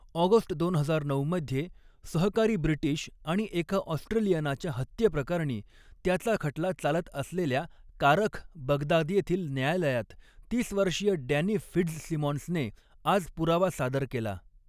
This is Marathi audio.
ऑगस्ट दोन हजार नऊ मध्ये सहकारी ब्रिटीश आणि एका ऑस्ट्रेलियनाच्या हत्येप्रकरणी त्याचा खटला चालत असलेल्या कारख, बगदाद येथील न्यायालयात, तीस वर्षीय डॅनि फिट्झसिमॉन्सने आज पुरावा सादर केला.